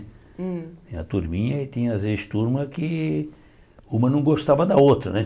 Hum Tinha a turminha e tinha as vezes turmas que uma não gostava da outra, né?